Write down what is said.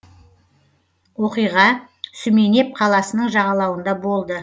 оқиға сүменеп қаласының жағалауында болды